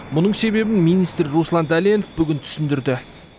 мұның себебін министр руслан дәленов бүгін түсіндірді